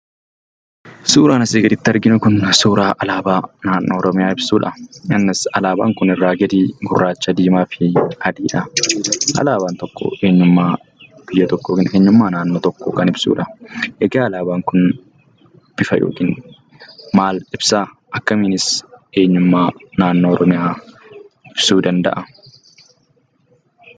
Suuraan asii gaditti arginu kun suuraa alaabaa naannoo Oromiyaa ibsudha. innis alaabaan kun irraa gadii gurraacha, diimaa fi adiidha. Alaabaan tokko eenyummaa biyya tokkoo fi eenyummaa naannoo tokkoo kan ibsudha. Egaa alaabaan kun bifa yookiin maal ibsaa? akkamiinis eenyummaa naannoo Oromiyaa ibsuu danda'a?